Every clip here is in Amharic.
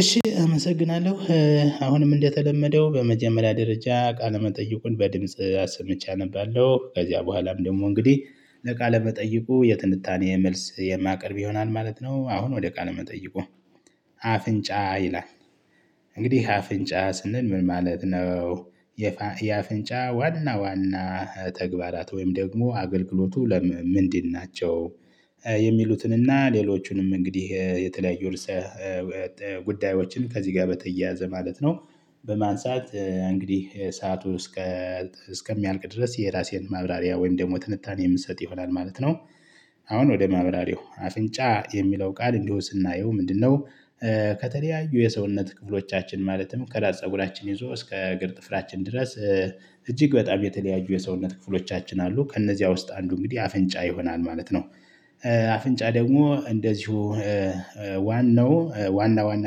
እሺ አመሰግናለሁ አሁንም እንደተለመደው በመጀመሪያ ደረጃ ቃለ መጠይቁን በድምጽ አሰምቼ አነባለሁ ከዚያ በኋላም ደግሞ እንግዲህ ለቃለ መጠይቁ የትንታኔ መልስ የማቀርብ ይሆናል ማለት ነው። አሁን ወደ ቃል መጠይቁ አፍንጫ ይላል። እንግዲህ አፍንጫ ስንል ምን ማለት ነው? የአፍንጫ ዋና ዋና ተግባራት ወይም ደግሞ አገልግሎቱ ለም ምንድን ናቸው? የሚሉትንና ሌሎቹንም እንግዲህ የተለያዩ እርሰ ጉዳዮችን ከዚህ ጋር በተያያዘ ማለት ነው። በማንሳት እንግዲህ ሰዓቱ እስከ እስከሚያልቅ ድረስ የራሴን ማብራሪያ ወይም ደግሞ ትንታኔ የምትሰጥ ይሆናል ማለት ነው። አሁን ወደ ማብራሪያው አፍንጫ የሚለው ቃል እንዲሁ ስናየው ምንድነው? ከተለያዩ የሰውነት ክፍሎቻችን ማለትም ከራስ ፀጉራችን ይዞ እስከ እግር ጥፍራችን ድረስ። እጅግ በጣም የተለያዩ የሰውነት ክፍሎቻችን አሉ ከእነዚያ ውስጥ አንዱ እንግዲህ አፍንጫ ይሆናል ማለት ነው። አፍንጫ ደግሞ እንደዚሁ ዋናው ዋና ዋና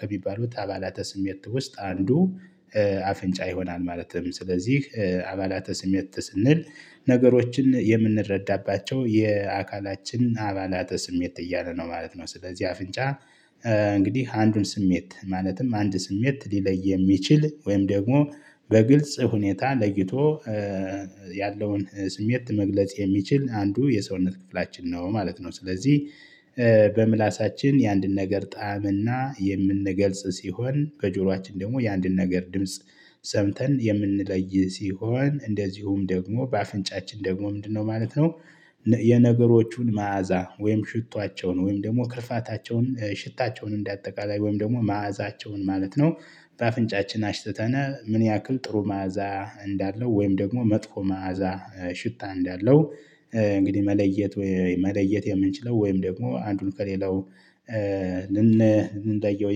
ከሚባሉት አባላተ ስሜት ውስጥ አንዱ። አፍንጫ ይሆናል ማለትም ስለዚህ አባላተ ስሜት ስንል ነገሮችን የምንረዳባቸው የአካላችን አባላተ ስሜት እያለ ነው ማለት ነው። ስለዚህ አፍንጫ እንግዲህ አንዱን ስሜት ማለትም አንድ ስሜት ሊለይ የሚችል ወይም ደግሞ በግልጽ ሁኔታ ለይቶ ያለውን ስሜት መግለጽ የሚችል አንዱ የሰውነት ክፍላችን ነው ማለት ነው። ስለዚህ በምላሳችን የአንድን ነገር ጣዕምና የምንገልጽ ሲሆን ከጆሮአችን ደግሞ የአንድን ነገር ድምጽ ሰምተን የምንለይ ሲሆን እንደዚሁም ደግሞ በአፍንጫችን ደግሞ ምንድነው ማለት ነው? የነገሮቹን መዓዛ ወይም ሽታቸውን ወይም ደግሞ ክርፋታቸውን ሽታቸውን እንደአጠቃላይ ወይም ደግሞ መዓዛቸውን ማለት ነው። በአፍንጫችን አሽትተነ ምን ያክል ጥሩ መዓዛ እንዳለው ወይም ደግሞ መጥፎ መዓዛ ሽታ እንዳለው። እንግዲህ መለየት መለየት የምንችለው ወይም ደግሞ አንዱን ከሌላው ልንለየው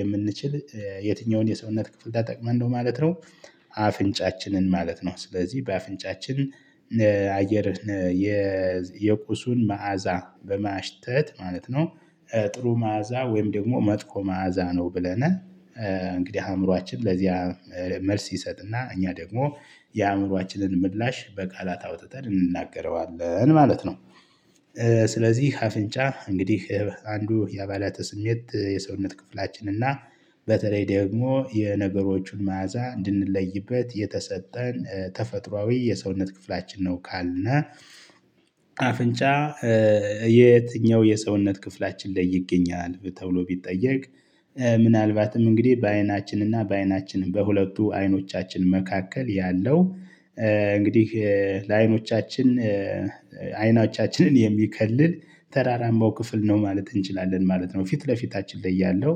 የምንችል የትኛውን የሰውነት ክፍል ታጠቅመን ነው ማለት ነው? አፍንጫችንን ማለት ነው። ስለዚህ በአፍንጫችን አየር የቁሱን መዓዛ በማሽተት ማለት ነው። ጥሩ መዓዛ ወይም ደግሞ መጥፎ መዓዛ ነው ብለን እንግዲህ አእምሮአችን ለዚያ መልስ ይሰጥና እኛ ደግሞ የአእምሮአችንን ምላሽ በቃላት አውጥተን እንናገረዋለን ማለት ነው። ስለዚህ አፍንጫ እንግዲህ አንዱ የአባላተ ስሜት የሰውነት ክፍላችን እና በተለይ ደግሞ የነገሮቹን መዓዛ እንድንለይበት የተሰጠን ተፈጥሮአዊ የሰውነት ክፍላችን ነው ካልነ። አፍንጫ የትኛው የሰውነት ክፍላችን ላይ ይገኛል ተብሎ ቢጠየቅ? ምናልባትም እንግዲህ በአይናችን እና በአይናችን በሁለቱ አይኖቻችን መካከል ያለው እንግዲህ ለአይኖቻችን አይኖቻችንን የሚከልል ተራራማው ክፍል ነው ማለት እንችላለን ማለት ነው። ፊት ለፊታችን ላይ ያለው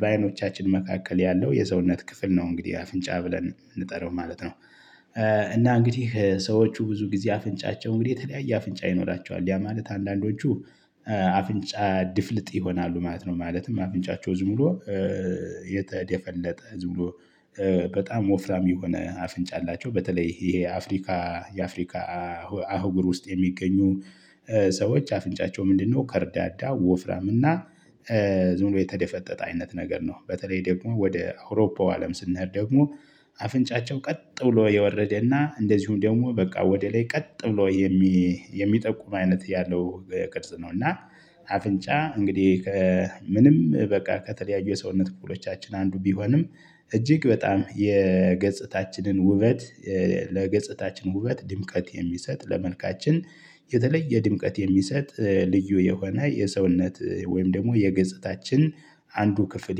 በአይኖቻችን መካከል ያለው የሰውነት ክፍል ነው እንግዲህ አፍንጫ ብለን የምንጠራው ማለት ነው። እና እንግዲህ ሰዎቹ ብዙ ጊዜ አፍንጫቸው እንግዲህ የተለያየ አፍንጫ ይኖራቸዋል ያ ማለት አንዳንዶቹ አፍንጫ ድፍልጥ ይሆናሉ ማለት ነው። ማለትም አፍንጫቸው ዝም ብሎ የተደፈለጠ ዝም ብሎ በጣም ወፍራም የሆነ አፍንጫ አላቸው። በተለይ ይሄ አፍሪካ የአፍሪካ አህጉር ውስጥ የሚገኙ ሰዎች አፍንጫቸው ምንድነው ከርዳዳ ወፍራም እና ዝም ብሎ የተደፈጠጠ አይነት ነገር ነው። በተለይ ደግሞ ወደ አውሮፓው አለም ስንሄድ ደግሞ አፍንጫቸው ቀጥ ብሎ የወረደና እንደዚሁም ደግሞ በቃ ወደ ላይ ቀጥ ብሎ የሚጠቁም አይነት ያለው ቅርጽ ነው። እና አፍንጫ እንግዲህ ከምንም በቃ ከተለያዩ የሰውነት ክፍሎቻችን አንዱ ቢሆንም እጅግ በጣም የገጽታችንን ውበት ለገጽታችን ውበት ድምቀት የሚሰጥ ለመልካችን የተለየ ድምቀት የሚሰጥ ልዩ የሆነ የሰውነት ወይም ደግሞ የገጽታችን አንዱ ክፍል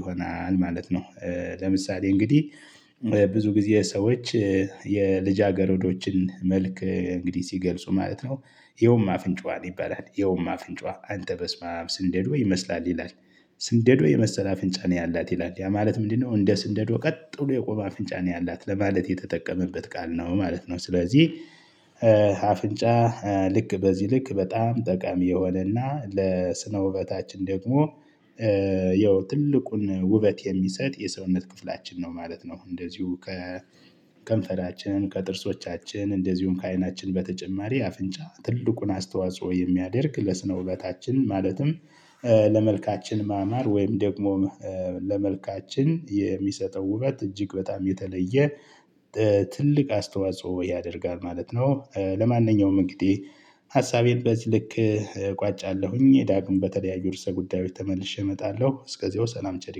ይሆናል ማለት ነው። ለምሳሌ እንግዲህ ብዙ ጊዜ ሰዎች የልጅ አገር ወዶችን መልክ እንግዲህ ሲገልጹ ማለት ነው እየውማ አፍንጫዋን ይባላል እየውማ አፍንጫዋን አንተ በስማም ስንደዶ ወይ ይመስላል ይላል። ስንደዶ የመሰለ አፍንጫ ነው ያላት ይላል ያ ማለት ምንድነው? እንደ ስንደዶ ቀጥሎ የቆመ አፍንጫ ነው ያላት ለማለት የተጠቀመበት ቃል ነው ማለት ነው። ስለዚህ አፍንጫ ልክ በዚህ ልክ በጣም ጠቃሚ የሆነና ለስነ ውበታችን ደግሞ ያው ትልቁን ውበት የሚሰጥ የሰውነት ክፍላችን ነው ማለት ነው። እንደዚሁ ከከንፈራችን ከጥርሶቻችን እንደዚሁም ከዓይናችን በተጨማሪ አፍንጫ ትልቁን አስተዋጽኦ የሚያደርግ ለስነ ውበታችን ማለትም ለመልካችን ማማር ወይም ደግሞ ለመልካችን የሚሰጠው ውበት እጅግ በጣም የተለየ ትልቅ አስተዋጽኦ ያደርጋል ማለት ነው። ለማንኛውም እንግዲህ ሀሳቤን በዚህ ልክ እቋጫለሁኝ ዳግም በተለያዩ እርስ ጉዳዮች ተመልሼ እመጣለሁ እስከዚያው ሰላም ቸር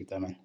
ይግጠመን።